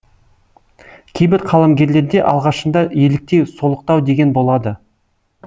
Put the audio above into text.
кейбір қаламгерлерде алғашында еліктеу солықтау деген болады